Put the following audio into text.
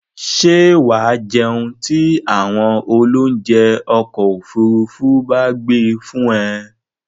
Ṣé wà á jẹun tí àwọn oloúnjẹ́ ọkọ-òfurufú bá gbé fún ẹ?